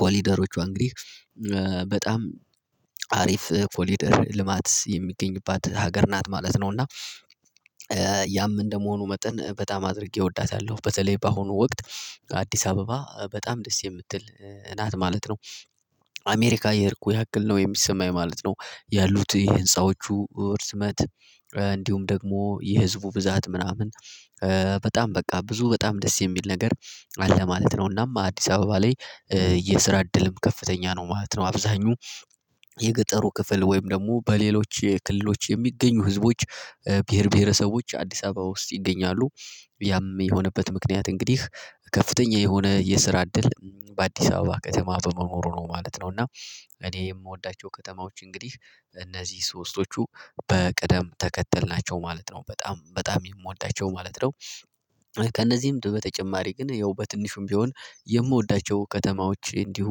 ኮሊደሮቿ እንግዲህ በጣም አሪፍ ኮሊደር ልማት የሚገኝባት ሀገር ናት ማለት ነው። እና ያም እንደመሆኑ መጠን በጣም አድርጌ እወዳታለሁ። በተለይ በአሁኑ ወቅት አዲስ አበባ በጣም ደስ የምትል ናት ማለት ነው። አሜሪካ የሄድኩ ያክል ነው የሚሰማኝ ማለት ነው ያሉት የህንፃዎቹ ውርዝመት እንዲሁም ደግሞ የህዝቡ ብዛት ምናምን በጣም በቃ ብዙ በጣም ደስ የሚል ነገር አለ ማለት ነው። እናም አዲስ አበባ ላይ የስራ እድልም ከፍተኛ ነው ማለት ነው። አብዛኙ የገጠሩ ክፍል ወይም ደግሞ በሌሎች የክልሎች የሚገኙ ህዝቦች ብሄር ብሄረሰቦች አዲስ አበባ ውስጥ ይገኛሉ። ያም የሆነበት ምክንያት እንግዲህ ከፍተኛ የሆነ የስራ እድል በአዲስ አበባ ከተማ በመኖሩ ነው ማለት ነው። እና እኔ የምወዳቸው ከተማዎች እንግዲህ እነዚህ ሶስቶቹ በቅደም ተከተል ናቸው ማለት ነው በጣም በጣም የምወዳቸው ማለት ነው። ከእነዚህም በተጨማሪ ግን ያው በትንሹም ቢሆን የምወዳቸው ከተማዎች እንዲሁ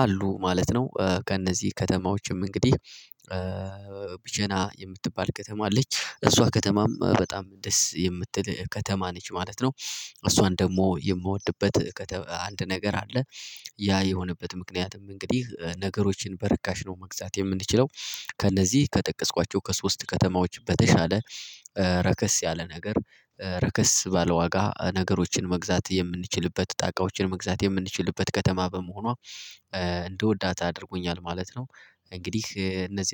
አሉ ማለት ነው፣ ከእነዚህ ከተማዎችም እንግዲህ ቢጀና የምትባል ከተማ አለች እሷ ከተማም በጣም ደስ የምትል ከተማ ነች። ማለት ነው እሷን ደግሞ የምወድበት አንድ ነገር አለ ያ የሆነበት ምክንያትም እንግዲህ ነገሮችን በረካሽ ነው መግዛት የምንችለው ከእነዚህ ከጠቀስኳቸው ከሶስት ከተማዎች በተሻለ ረከስ ያለ ነገር ረከስ ባለ ዋጋ ነገሮችን መግዛት የምንችልበት ጣቃዎችን መግዛት የምንችልበት ከተማ በመሆኗ እንደወዳት አድርጎኛል። ማለት ነው እንግዲህ እነዚህ